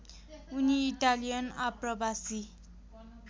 उनी इटालियन आप्रवासी